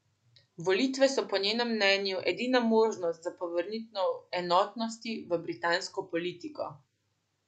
Volitve so po njenem mnenju edina možnost za povrnitev enotnosti v britansko politiko.